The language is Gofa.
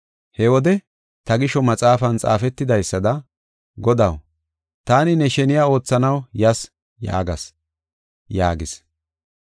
He wode, ‘Ta gisho maxaafan xaafetidaysada, Godaw, taani ne sheniya oothanaw yas’ yaagas” yaagis.